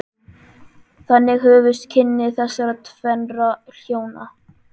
Þannig hófust kynni þessara tvennra hjóna.